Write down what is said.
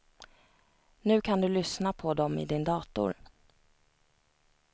Nu kan du lyssna på dom i din dator.